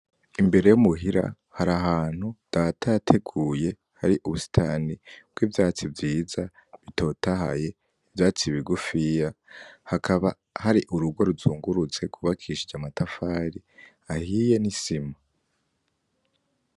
Imbere yo muhira har'ahantu Data yateguye har'ubusitani bw'ivyatsi vyiza butotahaye ivyatsi bigufiya , hakaba hari urugo ruzungurutse rwubakishije amatafari ahiye n'isima.